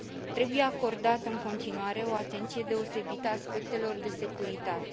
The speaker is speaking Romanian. Trebuie acordată în continuare o atenție deosebită aspectelor de securitate.